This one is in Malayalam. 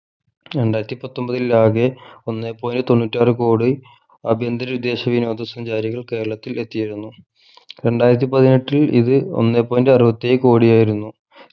രണ്ടായിരത്തി പത്തൊമ്പതിൽ ആകെ ഒന്നേ point തൊണ്ണൂറ്റാർ കോടി അഭ്യന്തര വിദേശ വിനോദ സഞ്ചാരികൾ കേരളത്തിൽ എത്തിയിരുന്നു രണ്ടായിരത്തി പതിനെട്ടിൽ ഇത് ഒന്നേ point അറുപത്തിയേഴ് കോടിയായിരുന്നു